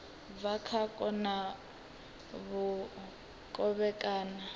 bva kha u kona kovhekana